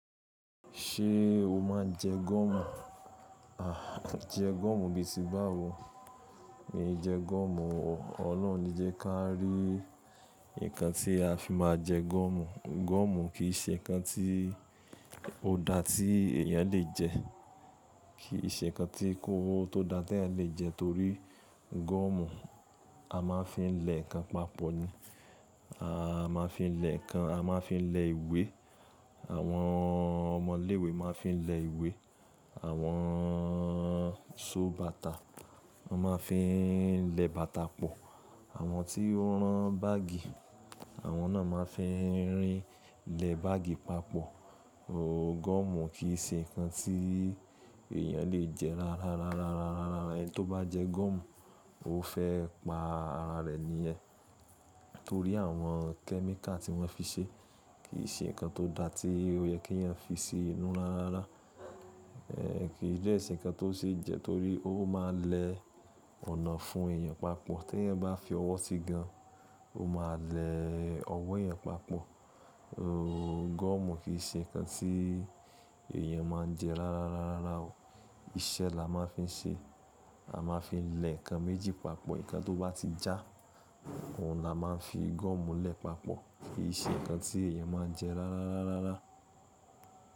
Ṣé o máa ń jẹ gọ́mù? À, jẹ gọ́mù bí tí bá wo, mí jẹ gọ́mù o. Ọlọ́run ní jẹ ká rí nǹkan tí a fi máa jẹ gọ́mù. Gọ́mù kì í ṣe nǹkan tí ó dá tí èèyàn lè jẹ. Kì í ṣe nǹkan tí kóró tó dá tí ẹ lè jẹ torí gọ́mù a máa ń fi lẹ̀ ǹkan papọ̀ ni. A máa fi lẹ̀ ǹkan, a máa fi lẹ̀ ìwé. Àwọn ọmọ ilé ìwé máa fi lẹ̀ ìwé. Àwọn so bàtà, wọ́n máa fi lẹ̀ bàtà pọ̀. Àwọn tí ó rán báàgì, àwọn náà máa fi lẹ̀ báàgì papọ̀. Oòo gọ́mù kì í ṣe nǹkan tí èèyàn lè jẹ rárá rárá rárá rárá. Ẹni tó bá jẹ gọ́mù, ó fẹ́ pa ara rẹ̀ ni ẹ, torí àwọn kẹ́míkà tí wọ́n fi ṣe, kì í ṣe nǹkan tó dá tí ó yẹ kí èèyàn fi ṣe inú rárá rárá. Ẹ̀ẹ̀, kì í jẹ́ ẹṣin nǹkan tó ṣe jẹ torí ó máa lẹ ọnà fún èèyàn papọ̀. Tí ẹ bá fi ọwọ́ sí gan, ó máa lẹ ọwọ́ èèyàn papọ̀. Oòo gọ́mù kì í ṣe nǹkan tí èèyàn máa ń jẹ rárá rárá rárá o. Iṣẹ́ la máa fi ń ṣe. A máa fi lẹ̀ ǹkan méjì papọ̀. Ǹkan tó bá ti já, òun la máa fi gọ́mù lẹ̀ papọ̀. Kì í ṣe nǹkan tí èèyàn máa ń jẹ rárá rárá rárá.